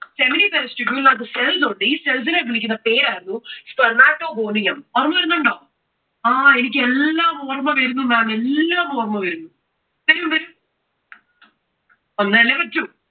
seminiferous tubule ന് അകത്തു cells ഉണ്ട്. ഈ cells നെ വിളിക്കുന്ന പേരാണ് spermatogonium. ഓര്മവരുന്നുണ്ടോ? ആ എനിക്ക് എല്ലാം ഓർമ്മ വരുന്നു maam, എല്ലാം ഓർമ്മ വരുന്നു. വരും വരും. വന്നാലേ പറ്റൂ.